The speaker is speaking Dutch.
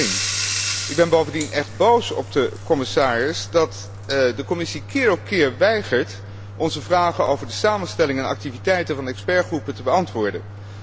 in 2001. Ik ben bovendien echt boos op de commissaris dat de Commissie keer op keer weigert onze vragen over de samenstelling en activiteiten van de deskundigengroepen te beantwoorden.